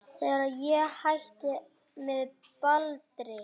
Þegar ég hætti með Baldri.